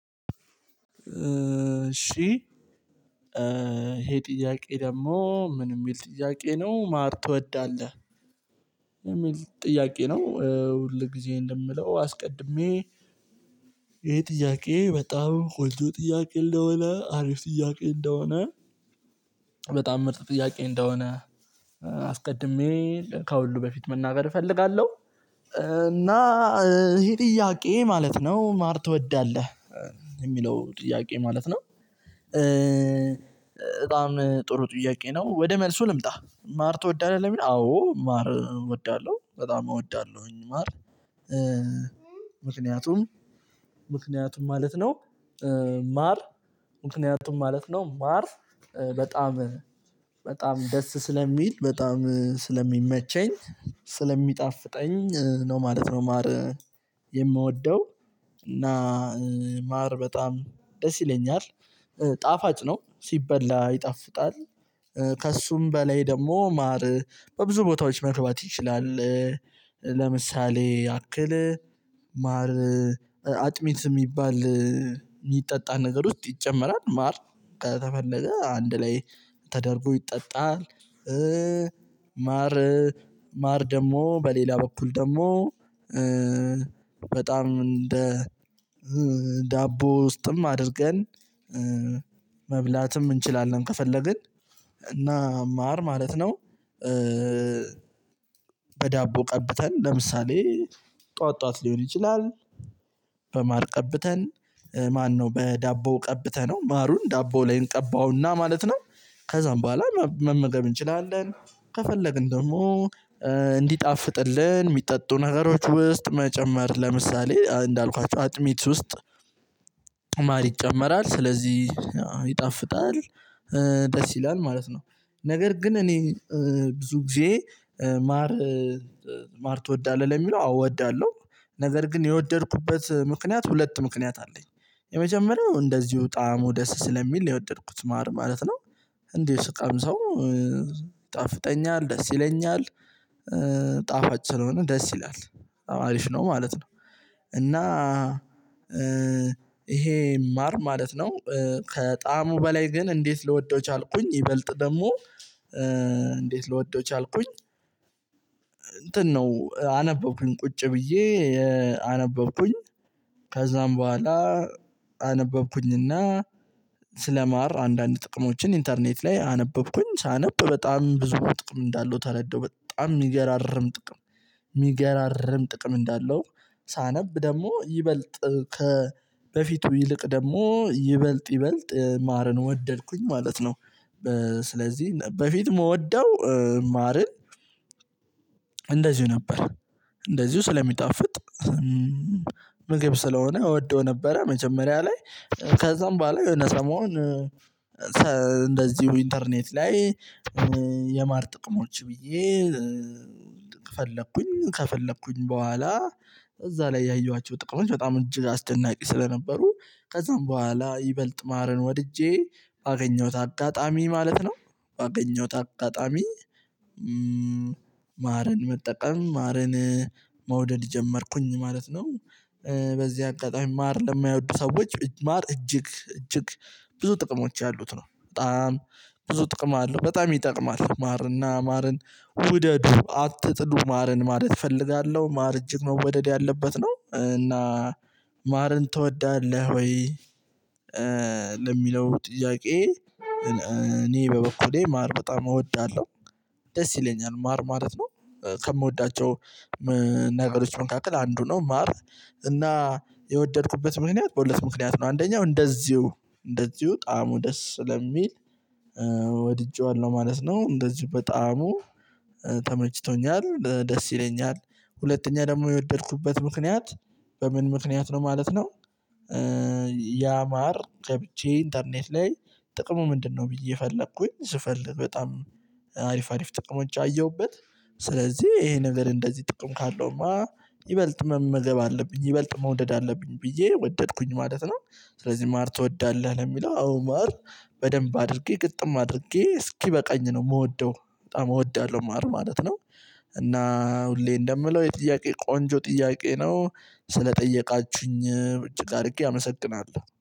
እሺ ይሄ ጥያቄ ደግሞ ምን የሚል ጥያቄ ነው ማር ትወዳለህ? የሚል ጥያቄ ነው ሁል ጊዜ እንደምለው አስቀድሜ። ይሄ ጥያቄ በጣም ኮልጆ ጥያቄ እንደሆነ አሪፍ ጥያቄ እንደሆነ። በጣም ምርጥ ጥያቄ እንደሆነ። አስቀድሜ ከሁሉ በፊት መናገር እፈልጋለሁ። እና ይሄ ጥያቄ ማለት ነው ማር ትወዳለህ የሚለው ጥያቄ ማለት ነው። በጣም ጥሩ ጥያቄ ነው። ወደ መልሱ ልምጣ ማር ትወዳለህ ለሚል አዎ ማር እወዳለሁ በጣም እወዳለሁኝ ማር። ምክንያቱም ምክንያቱም ማለት ነው። ማር ምክንያቱም ማለት ነው ማር በጣም በጣም ደስ ስለሚል በጣም ስለሚመቸኝ ስለሚጣፍጠኝ ነው ማለት ነው። ማር የምወደው እና ማር በጣም ደስ ይለኛል። ጣፋጭ ነው ሲበላ ይጣፍጣል። ከእሱም በላይ ደግሞ ማር በብዙ ቦታዎች መግባት ይችላል። ለምሳሌ ያክል ማር አጥሚት የሚባል የሚጠጣ ነገር ውስጥ ይጨመራል ማር ከተፈለገ አንድ ላይ ተደርጎ ይጠጣል። ማር ማር ደግሞ በሌላ በኩል ደግሞ። በጣም እንደ ዳቦ ውስጥም አድርገን መብላትም እንችላለን። ከፈለግን እና እና ማር ማለት ነው። በዳቦ ቀብተን ለምሳሌ ጥኋዋት ጥኋዋት ሊሆን ይችላል። ቀብተን ማነው በዳቦ ቀብተነው ማሩን ዳቦ ላይ እንቀባውና ማለት ነው። ከዛም በኋላ መመገብ እንችላለን። ከፈለግን ደግሞ እንዲጣፍጥልን የሚጠጡ ነገሮች ውስጥ መጨመር ለምሳሌ እንዳልኳችሁ አጥሚት ውስጥ ማር ይጨመራል። ስለዚህ ይጣፍጣል ደስ ይላል ማለት ነው። ነገር ግን እኔ ብዙ ጊዜ ማር ማር ትወዳለህ ለሚለው አዎ እወዳለሁ ነገር ግን የወደድኩበት ምክንያት ሁለት ምክንያት አለኝ። የመጀመሪያው እንደዚሁ ጣዕሙ ደስ ስለሚል የወደድኩት ማር ማለት ነው። እንዲሁ ስቀምሰው ይጣፍጠኛል ደስ ይለኛል። ጣፋጭ ስለሆነ ደስ ይላል አሪፍ ነው ማለት ነው። እና ይሄ ማር ማለት ነው። ከጣሙ በላይ ግን እንዴት ልወደው ቻልኩኝ ይበልጥ ደግሞ እንዴት ልወደው ቻልኩኝ? እንትን ነው አነበብኩኝ ቁጭ ብዬ አነበብኩኝ ከዛም በኋላ አነበብኩኝና ስለማር አንዳንድ ጥቅሞችን ኢንተርኔት ላይ አነበብኩኝ ሳነብ በጣም ብዙ ጥቅም እንዳለው ተረዳው። በጣም የሚገራርም ጥቅም የሚገራርም ጥቅም እንዳለው ሳነብ ደግሞ ይበልጥ ከበፊቱ ይልቅ ደግሞ ይበልጥ ይበልጥ ማርን ወደድኩኝ ማለት ነው። ስለዚህ በፊት የምወደው ማርን ማረን እንደዚሁ ነበር። እንደዚሁ ስለሚጣፍጥ ምግብ ስለሆነ እወደው ነበረ መጀመሪያ ላይ ከዛም በኋላ የሆነ ሰሞን። እንደዚሁ ኢንተርኔት ላይ የማር ጥቅሞች ብዬ ፈለኩኝ ከፈለኩኝ በኋላ እዛ ላይ ያየኋቸው ጥቅም በጣም እጅግ አስደናቂ ስለነበሩ ከዛም በኋላ ይበልጥ ማረን ወድጄ ባገኘሁት አጋጣሚ ማለት ነው። ባገኘሁት አጋጣሚ። ማርን መጠቀም ማርን መውደድ ጀመርኩኝ ማለት ነው። በዚህ አንቀጣይ ማር ለማይወዱ ሰዎች ማር እጅግ እጅግ ብዙ ጥቅሞች ያሉት ነው በጣም ብዙ ጥቅም አለው። በጣም ይጠቅማል ማርና ማርን ውደዱ አትጥሉ ማርን ማለት እፈልጋለሁ ማር እጅግ መወደድ ያለበት ነው። እና ማርን ትወዳለህ ወይ? ለሚለው ጥያቄ እኔ በበኩሌ ማር በጣም እወዳለሁ ደስ ይለኛል ማር ማለት ነው። ከምወዳቸው ነገሮች መንካከል አንዱ ነው ማር እና የወደድኩበት ምክንያት በሁለት ምክንያት ነው። አንደኛው እንደዚሁ እንደዚሁ ጣዕሙ ደስ ለሚል ማለት ነው እንደዚሁ በጣም ተመችቶኛል ደስ ይለኛል። ሁለተኛ ደግሞ የወደድኩበት ምክንያት በምን ምክንያት ነው ማለት ነው። ያማር ከብቼ ኢንተርኔት ላይ ጥቅሙ ምንድነው? ብዬ ፈለኩኝ ስፈልግ በጣም አሪፍ አሪፍ ጥቅሞች አየሁበት። ስለዚህ ይሄንን እንደዚህ ጥቅም ካለውማ ይበልጥ መመገብ አለብኝ ይበልጥ መውደድ አለብኝ ብዬ ወደድኩኝ ማለት ነው። ስለዚህ ማር ትወዳለህ ለሚለው አዎ ማር በደንብ አድርጌ ግጥም አድርጌ እስኪበቃኝ ነው የምወደው በጣም እወዳለሁ ማለት ነው። እና ሁሌ እንደምለው የጥያቄ ቆንጆ ጥያቄ ነው። ስለጠየቃችሁኝ እጅግ አድርጌ አመሰግናለሁ